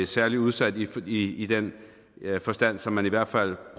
særlig udsat i i den forstand som man i hvert fald